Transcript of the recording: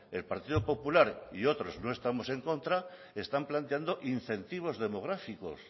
el partido popular y otros no estamos en contra están planteando incentivos demográficos